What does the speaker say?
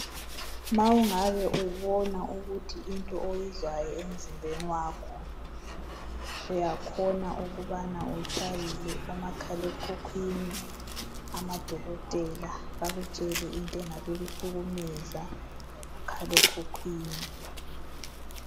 Ma ungabe ubona ukuthi into oyizwayo emzimbeni wakho uyakhona ukubana utshayele umakhalekhukhwini amadokotela bakutshele into engabe ukuhlukumeza kumakhalekhukwini